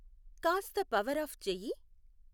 కాస్త power off చెయ్యి